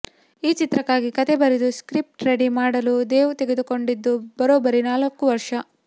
ಈ ಚಿತ್ರಕ್ಕಾಗಿ ಕಥೆ ಬರೆದು ಸ್ಕ್ರಿಫ್ಟ್ ರೆಡಿ ಮಾಡಲು ದೇವ್ ತೆಗೆದುಕೊಂಡಿದ್ದು ಬರೋಬ್ಬರಿ ನಾಲಕ್ಕು ವರ್ಷ